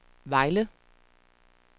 Vejle